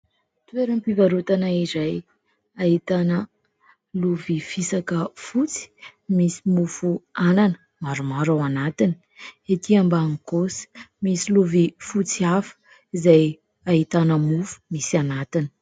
Toeram-pivarotana izay ahitana lovia fisaka fotsy misy mofo anana maromaro ao anatiny, etỳ ambany kosa misy lovia fotsy hafa izay ahitana mofo misy anatiny.